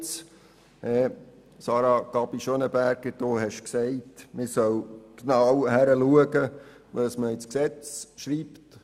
Sarah Gabi Schönenberger, du hast gesagt, man solle genau hinschauen, was man ins Gesetz schreibt.